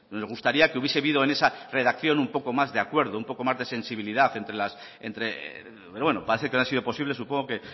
me gustaría que hubiese habido en esa redacción un poco más de acuerdo un poco más de sensibilidad pero bueno parece que no ha sido posible supongo que